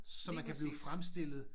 Lige præcis